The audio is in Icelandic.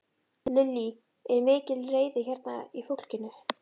Lillý: Er mikil reiði hérna í fólki?